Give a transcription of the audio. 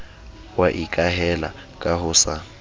wa ikahela ka ho sa